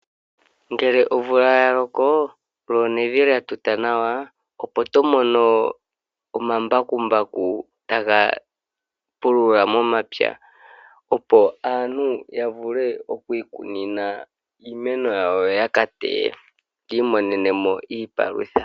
Ngele omvula yaloko lyo nevi lya tuta nawa opo tomono omambakumbaku taga pulula momapya, opo aantu yavule okwii kunina iimeno yawo, yo ya kateye yiimonenemo iipalutha.